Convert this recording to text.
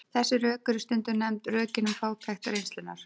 Þessi rök eru stundum nefnd rökin um fátækt reynslunnar.